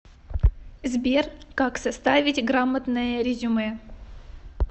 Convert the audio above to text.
сбер как составить грамотное резюме